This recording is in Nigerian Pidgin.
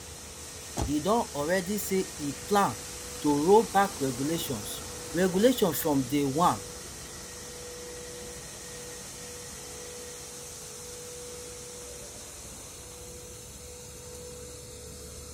e don already say e plan to roll back regulations regulations from day one